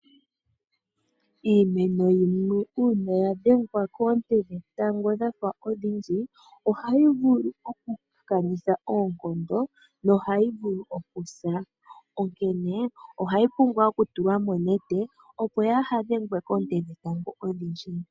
Iimeno yimwe uuna ya dhengwa koonte dhetango dha fa odhindji, ohayi vulu okukanitha oonkondo nohayi vulu okusa, onkene ohayi pumbwa okutulwa monete, opo yaa he dhengwe koonte dhetango odhindji.